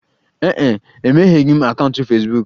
Ee e, emegheghị m akaụntụ Fesbuk.